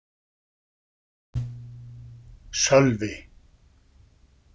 Sölvi